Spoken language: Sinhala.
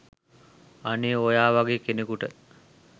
අනේ ඔයා වගේ කෙනෙකුට